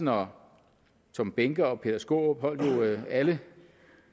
herre tom behnke og herre peter skaarup holdt jo alle